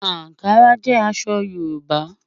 Ànkárà jẹ́ àṣọ̀ Yorùbá.